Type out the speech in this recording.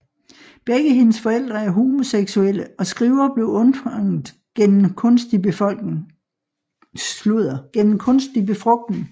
Begge hendes forældre er homoseksuelle og Skriver blev undfanget gennem kunstig befrugtning